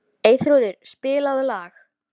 Mér létti þegar ég sá loks grilla í uppljómað húsið.